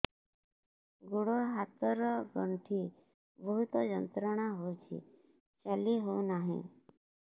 ଗୋଡ଼ ହାତ ର ଗଣ୍ଠି ବହୁତ ଯନ୍ତ୍ରଣା ହଉଛି ଚାଲି ହଉନାହିଁ